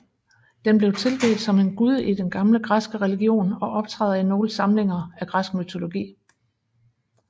Den blev tilbedt som en gud i den gamle græske religion og optræder i nogle samlinger af græsk mytologi